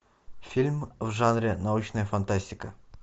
фильм в жанре научная фантастика